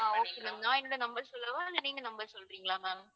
ஆஹ் okay ma'am நான் என்னோட number சொல்லவா இல்லை நீங்க number சொல்றீங்களா ma'am